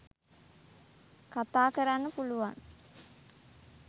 කතා කරන්න පුළුවන්.